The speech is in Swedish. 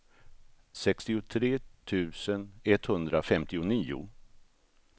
sextiotre tusen etthundrafemtionio